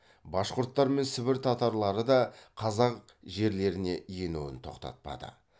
башқұрттар мен сібір татарлары да қазақ жерлеріне енуін тоқтатпады